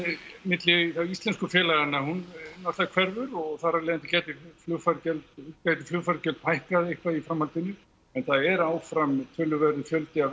milli íslensku félaganna náttúrulega hverfur og þar af leiðandi gætu flugfargjöld gætu flugfargjöld hækkað eitthvað í framhaldinu en það er áfram töluverður fjöldi af